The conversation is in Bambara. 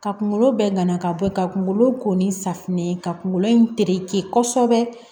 Ka kunkolo bɛɛ gana ka bɔ ka kunkolo ko ni safunɛ ye ka kunkolo in terete kosɛbɛ